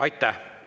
Aitäh!